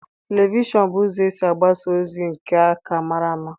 Televishọn bụ ụzọ esi agbasa ozi nke a ka mara ama.